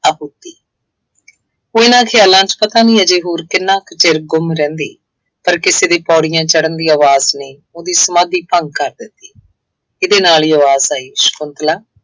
ਆਹੂਤੀ ਉਹ ਇਹਨਾ ਖਿਆਲਾਂ ਚ ਪਤਾ ਨਹੀਂ ਹਜੇ ਹੋਰ ਕਿੰਨਾ ਕੁ ਚਿਰ ਗੁੰਮ ਰਹਿੰਦੀ। ਪਰ ਕਿਸੇ ਦੀ ਪੌੜੀਆਂ ਚੜ੍ਹਨ ਦੀ ਆਵਾਜ਼ ਨੇ ਉਹਦੀ ਸਮਾਧੀ ਭੰਗ ਕਰ ਦਿੱਤੀ ਇਹਦੇ ਨਾਲ ਹੀ ਆਵਾਜ਼ ਆਈ, ਸ਼ੰਕੁਤਲਾ